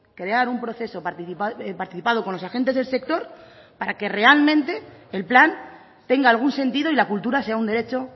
crear un proceso participado con los agentes del sector para que realmente el plan tenga algún sentido y la cultura sea un derecho